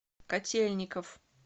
котельников